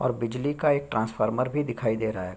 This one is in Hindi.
और बिजली का एक ट्रेन्स्फॉर्मर भी दिखाई दे रहा है।